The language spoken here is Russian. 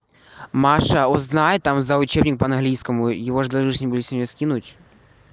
маша узнай там за учебник по английскому его же должны же были сегодня скинуть